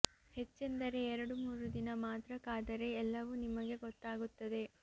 ಹೆಚ್ಚೆಂದರೆ ಎರಡು ಮೂರು ದಿನ ಮಾತ್ರ ಕಾದರೆ ಎಲ್ಲವೂ ನಿಮಗೆ ಗೊತ್ತಾಗುತ್ತದೆ